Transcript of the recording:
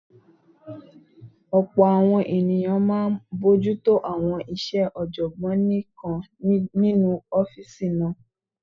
Ọ̀pọ̀ àwọn èèyàn máa n bojútó àwọn iṣẹ́ ọ̀jọ̀gbọ́n nìkan nínu ọ́fìsì náà